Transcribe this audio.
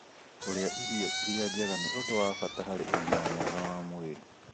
Kũrĩa irio iria njega nĩ ũndũ wa bata harĩ ũgima mwega wa mwĩrĩ.